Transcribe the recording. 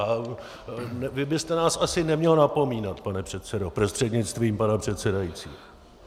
A vy byste nás asi neměl napomínat, pane předsedo prostřednictvím pana předsedajícího.